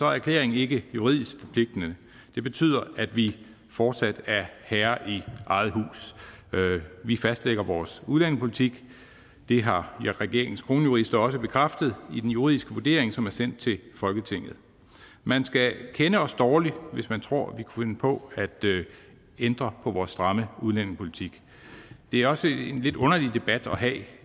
erklæringen ikke juridisk forpligtende det betyder at vi fortsat er herre i eget hus vi fastlægger vores udlændingepolitik det har regeringens kronjurister også bekræftet i den juridiske vurdering som er sendt til folketinget man skal kende os dårligt hvis man tror at vi kunne finde på at ændre på vores stramme udlændingepolitik det er også en lidt underlig debat at have at vi